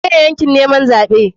Menene yakin neman zaɓe?